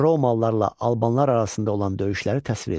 Romallılarla albanlar arasında olan döyüşləri təsvir edin.